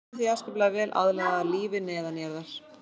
Þær eru því afskaplega vel aðlagaðar lífi neðanjarðar.